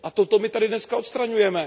A toto mi tady dneska odstraňujeme.